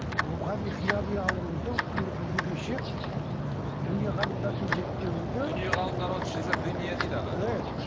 рухани қияли аурудың күні бүгінге шейін дүние ғалымдардың зерттеуінде дүние ғалымдары оны шизофрения дейді аға і